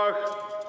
Silah!